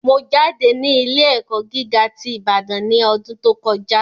Mo jáde ní ilé ẹ̀kọ́ gíga ti Ibadan ní ọdún tó kọjá